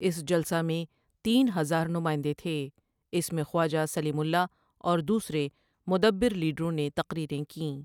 اس جلسہ میں تین ہزار نماٸندے تھے اس میں خواجہ سلیم اللہ اور دوسرے مدبرّ لیڈروں نے تقریریں کیں ۔